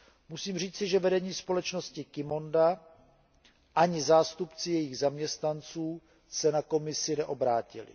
Musím říci, že vedení společnosti Qimonda ani zástupci jejich zaměstnanců se na Komisi neobrátili.